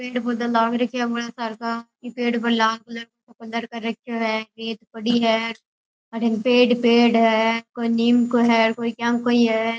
पेड़ पौधा लाग राख्या है बड़ा सार का ई पेड़ पर लाल कलर को कलर रख्यो है एक पड़ी है अठीने पेड़ ही पेड़ है कोई नीम को है कोई केम कोई है।